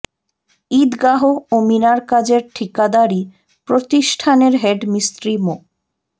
ঈদগাহ ও মিনার কাজের ঠিকাদারী প্রতিষ্ঠানের হেড মিস্ত্রি মো